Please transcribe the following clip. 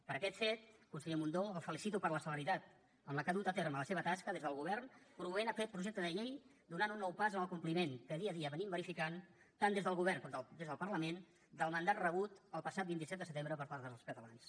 per aquest fet conseller mundó el felicito per la celeritat amb què ha dut a terme la seva tasca des del govern promovent aquest projecte de llei donant un nou pas en el compliment que dia a dia verifiquem tant des del govern com des del parlament del mandat rebut el passat vint set de setembre per part dels catalans